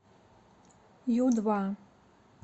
ю два